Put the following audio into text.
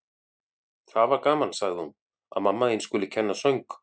Það var gaman, sagði hún: Að mamma þín skuli kenna söng.